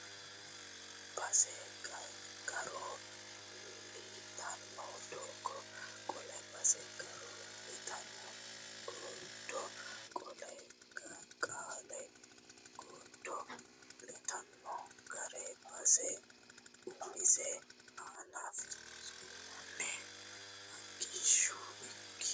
base garo litanno godo Qoollee base garo litanno godo Qoollee Qoollee godo litanno garo base umisi aana fincinanni Agishsho ikki !